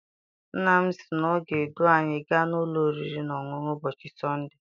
Nna m sị na ọ ga edu anyị gaa n'ụlọ oriri na ọṅụṅụ ụbọchị sọnde.